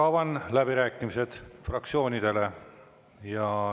Avan läbirääkimised fraktsioonidele.